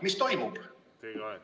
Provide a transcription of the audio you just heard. Ma küsin: mis toimub?